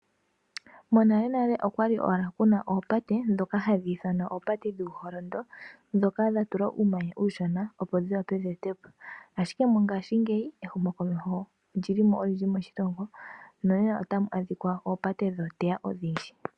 Monalenale okwali kuna owala oopate ndhoka hadhi ithanwa oopate dhuuholondo ndhoka dhatulwa uumanya uushona opo dhiwape dheetwe po. Mongaashingeyi ehumo komeho olili mo olindji moshilongo nonena otamu adhika oopate oonduudhe odhindji.